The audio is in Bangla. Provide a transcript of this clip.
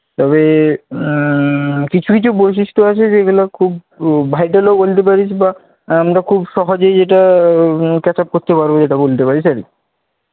তবে আহ কিছু বৈশিষ্ট্য আছে যেগুলো খুব vital বলতে পারিস বা আমরা খুব সহজেই এটা catch-up করতে পারবো এটা বলতে পারিস আর কি।